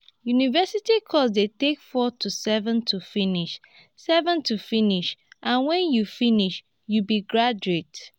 university course de take four to seven to finish seven to finish and when you finish you be graduate